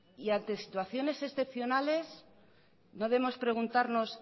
y ante situaciones excepcionales no debemos preguntarnos